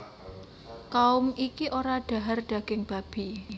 Kaum iki ora dhahar daging babi